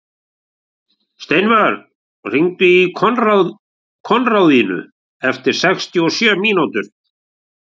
Steinvör, hringdu í Konráðínu eftir sextíu og sjö mínútur.